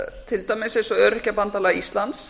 til dæmis eins og öryrkjabandalag íslands